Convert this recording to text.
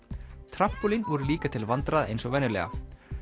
trampólín voru líka til vandræða eins og venjulega